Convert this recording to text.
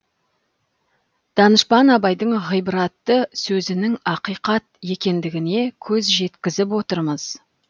данышпан абайдың ғибратты сөзінің ақиқат екендігіне көз жеткізіп отырмыз